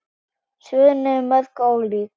Svörin eru mörg og ólík.